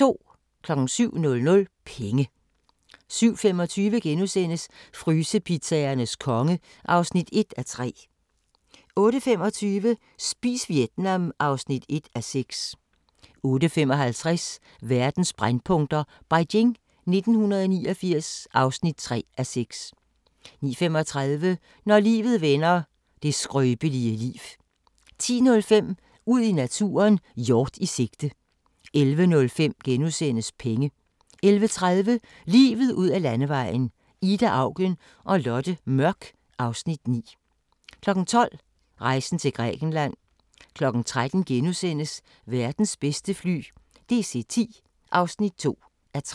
07:00: Penge 07:25: Frysepizzaernes konge (1:3)* 08:25: Spis Vietnam (1:6) 08:55: Verdens brændpunkter: Beijing 1989 (3:6) 09:35: Når livet vender – det skrøbelige liv 10:05: Ud i naturen: Hjort i sigte 11:05: Penge * 11:30: Livet ud ad Landevejen: Ida Auken og Lotte Mørk (Afs. 9) 12:00: Rejsen til Grækenland 13:00: Verdens bedste fly – DC-10 (2:3)*